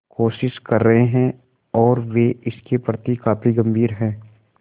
कोशिश कर रहे हैं और वे इसके प्रति काफी गंभीर हैं